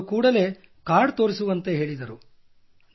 ಅದಕ್ಕೆ ಅವರು ಕೂಡಲೇ ಕಾರ್ಡ್ ತೋರಿಸುವಂತೆ ಹೇಳಿದರು